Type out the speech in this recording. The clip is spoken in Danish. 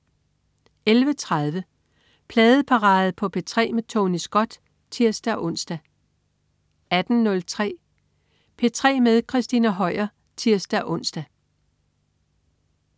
11.30 Pladeparade på P3 med Tony Scott (tirs-ons) 18.03 P3 med Christina Høier (tirs-ons)